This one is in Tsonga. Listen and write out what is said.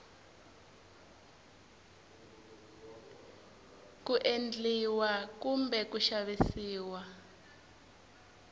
ku endliwa kumbe ku xavisiwa